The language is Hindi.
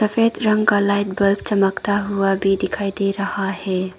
सफेद रंग का लाइट बल्ब चमकता हुआ भी दिखाई दे रहा है।